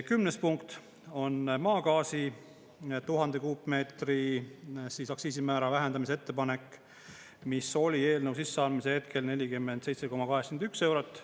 Kümnes punkt on maagaasi 1000 kuupmeetri aktsiisimäära vähendamise ettepanek, mis oli eelnõu sisseandmise hetkel 47,81 eurot.